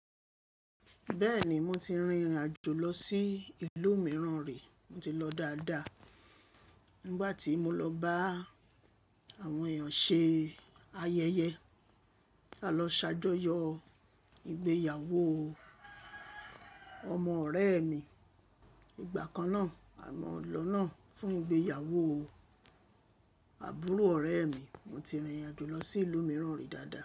Bẹ́ẹ̀ni, mo ti rìnrìn àjò lọ sí ìlú mìíràn rí, mo ti lọ dáadáa. Nígbà tí mo lọ bá àwọn èèyàn ṣe ayẹyẹ. A lọ ṣàjọyọ̀ ìgbéyàwó ọmọ ọ̀rẹ́ mi. Ìgbà kan náà, amọ̀làná fún ìgbéyàwó àbúrò ọ̀rẹ́ mi, mo ti rìnrìn àjò lọ sí ìlú mìíràn rí dáadáa.